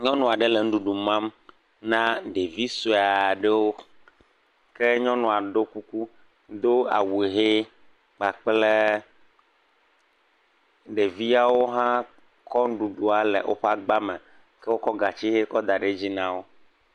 Nyɔnu aɖe le nuɖuɖu mam na ɖevi sue aɖewo ke nyɔnua do kuku do awu hee kpakple, ɖeviawo hã kɔ nuɖuɖua le woƒe agba me wokɔ gatsi kɔ da ɖe edzi na wo.